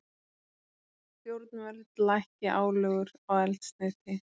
Stjórnvöld lækki álögur á eldsneyti